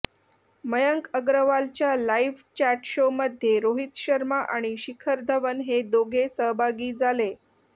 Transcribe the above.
मयंक अग्रवालच्या live chat show मध्ये रोहित शर्मा आणि शिखर धवन हे दोघे सहभागी झाले